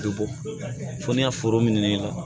Bɛ bɔ fo n ka foro minɛ